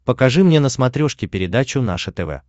покажи мне на смотрешке передачу наше тв